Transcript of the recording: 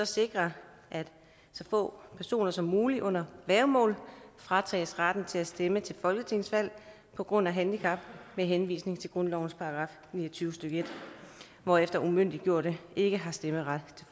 sikre at så få personer som muligt under værgemål fratages retten til at stemme til folketingsvalg på grund af handicap med henvisning til grundlovens § ni og tyve stykke en hvorefter umyndiggjorte ikke har stemmeret